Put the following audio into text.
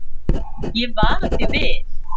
Ég vara þig við.